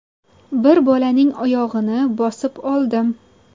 Bir bolaning oyog‘ini bosib oldim.